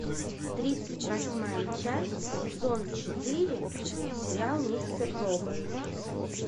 тридцать восьмая часть сезон четыре сериал мистер робот